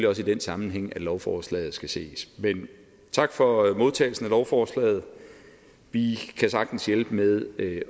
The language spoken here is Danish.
også i den sammenhæng at lovforslaget skal ses men tak for modtagelsen af lovforslaget vi kan sagtens hjælpe med at